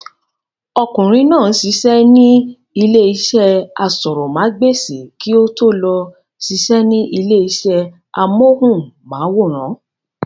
Ọkùnrin náà ń sisẹ́ ní ilé iṣẹ́ asọ̀rọ̀mágbèsì kí ó tó lọ sisẹ́ ní ilé iṣẹ́ amóhùnmáwòrán